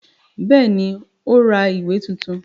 Bẹ́ẹ̀ ni, ó ra ìwé tuntun.